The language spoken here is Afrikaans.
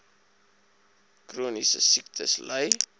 chroniese siektes ly